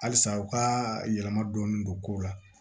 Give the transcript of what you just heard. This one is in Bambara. Halisa u ka yɛlɛma dɔɔni don kow la